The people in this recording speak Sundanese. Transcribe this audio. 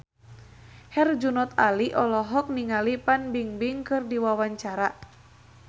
Herjunot Ali olohok ningali Fan Bingbing keur diwawancara